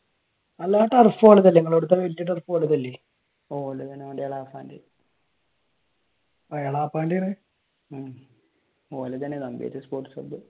അല്ല ആ ടർഫ്